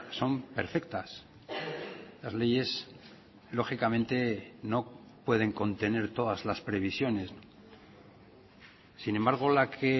son perfectas las leyes lógicamente no pueden contener todas las previsiones sin embargo la que